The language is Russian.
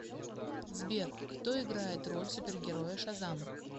сбер кто играет роль супергероя шазам